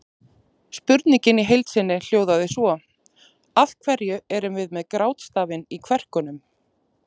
Spurningin í heild sinni hljóðaði svo: Af hverju erum við með grátstafinn í kverkunum?